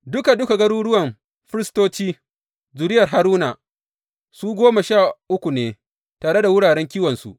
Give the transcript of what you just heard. Duka duka garuruwan firistoci, zuriyar Haruna, su goma sha uku ne tare da wuraren kiwonsu.